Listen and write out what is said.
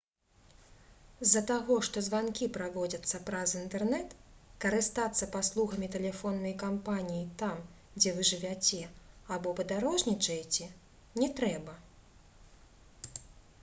з-за таго што званкі праводзяцца праз інтэрнэт карыстацца паслугамі тэлефоннай кампаніі там дзе вы жывяце або падарожнічаеце не трэба